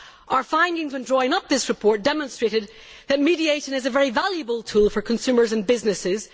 Our findings in drawing up this report demonstrated that mediation is a very valuable tool for consumers and businesses.